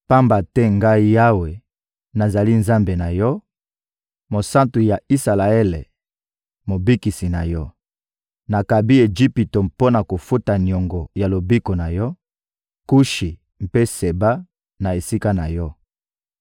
pamba te Ngai Yawe, nazali Nzambe na yo, Mosantu ya Isalaele, Mobikisi na yo. Nakabi Ejipito mpo na kofuta niongo ya lobiko na yo, Kushi mpe Seba na esika na yo.